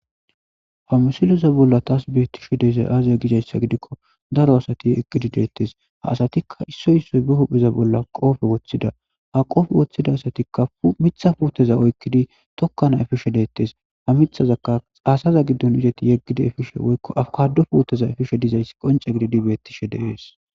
ha musiloza bolla taas beettishe deezay aaziya gizayssa gidikko daro asati yeggidi deettes ha asatikka issoy issoy be hupheza bolla qoofe woththida ha qoofe woththida asatikka mitha puuteza oykkidi tokka na efishe deettes ha mithazaka aasaza giddon izati yeggida efishe woykko afkado puoteza efishe dizayssi qonce gididi bettishe deees